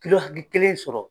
Kilo hakɛ kelen sɔrɔ